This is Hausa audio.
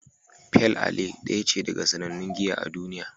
Pale Ale daya ce daga cikin sannannun giya a duniya.